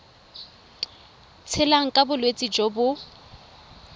tshelang ka bolwetsi jo bo